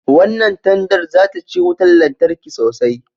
Wannan tandar za ta ci wutan lantarki sosai